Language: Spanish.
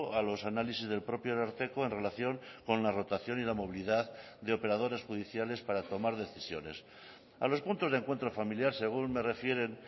a los análisis del propio ararteko en relación con la rotación y la movilidad de operadores judiciales para tomar decisiones a los puntos de encuentro familiar según me refieren